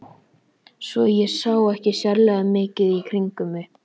Svo ég sá ekki sérlega mikið í kringum mig.